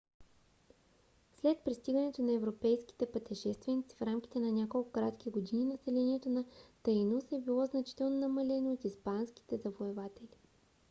след пристигането на европейските пътешественици в рамките на няколко кратки години населението на таинос е било значително намалено от испанските завоеватели